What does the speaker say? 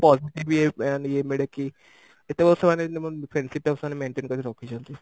positive ଇଏ ମାନେ ଇଏ କେତେ ବର୍ଷ ମାନେ ଏମିତି friendship ଟାକୁ ସେମାନେ maintain କରିକି ରଖିଛନ୍ତି?